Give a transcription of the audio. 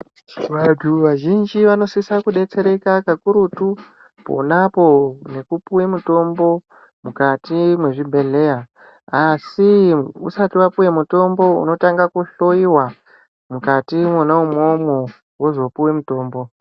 Vantu vazhinji vanosisa kudetsereka kakurutu ponapo ngekupuwe mitombo mukati mwezvibhehleya asi usati wapuwe mutombo unotange kuhloyiwa mukati mwona imwomwo wozopuwe mutombo.